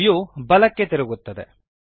view ಬಲಕ್ಕೆ ತಿರುಗುತ್ತದೆ